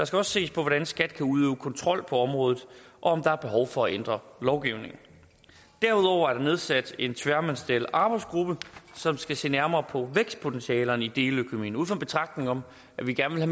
skal også ses på hvordan skat kan udøve kontrol på området og om der er behov for at ændre lovgivningen derudover er der nedsat en tværministeriel arbejdsgruppe som skal se nærmere på vækstpotentialet i deleøkonomien ud fra en betragtning om at vi gerne